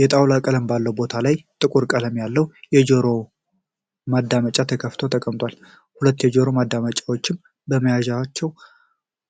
የጣውላ ቀለም ባለው ቦታ ላይ ጥቁር ቀለም ያለው የጆሮ ማዳመጫ ተከፍቶ ተቀምጧል። ሁለቱ የጆሮ ማዳመጫዎችም ከመያዣቸው